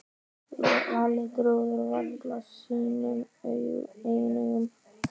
Lalli trúði varla sínum eigin augum.